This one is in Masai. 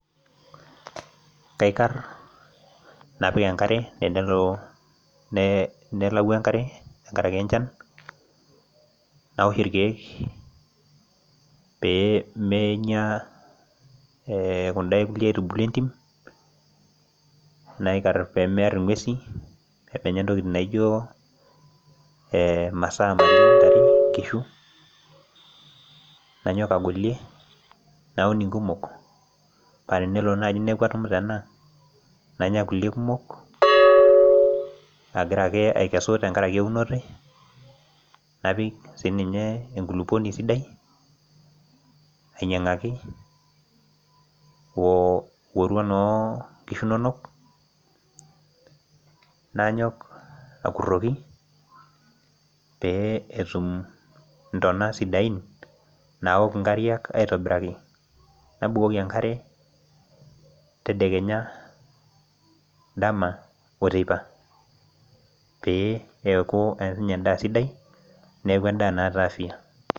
Kaikar napik enkare tenelo nelau enkare tengaraki enchan, nawosh irkeek peemenya kunda kukie aitubulin entim, naikarr pemearr inguesi, pemenya intokitin naijo masaa naijo inkishu, nanyok agolie, naun nkumok paa tenelo naaji neaku atumuta ena, nanya kulie kumok agira ake aikesu tengaraki eunoto ai, napik siii ninye enkuluponi sidai, ainyang'aki orua onkishu inonok, nanyok akuroki pee etum intona sidain naok inkariak aitobiraki, nabukoki enkare tedekenya, dama oteipa pee eaku ninye endaa sidai, neaku endaa naaata afya.